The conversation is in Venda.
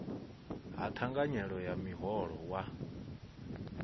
ha thanganyelo ya muholo wa